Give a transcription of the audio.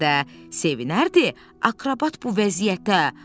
Bəlkə də sevinərdi akrobat bu vəziyyətə.